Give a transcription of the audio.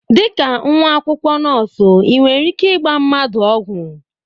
Dịka nwa akwụkwọ nọọsụ ị nwere ike ịgba mmadụ ọgwụ?